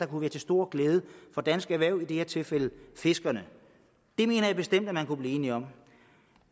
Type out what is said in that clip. kunne være til stor glæde for dansk erhverv i det her tilfælde fiskerne det mener jeg bestemt at man kunne blive enige om